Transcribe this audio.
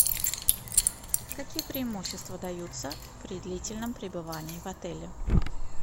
какие преимущества даются при длительном пребывании в отеле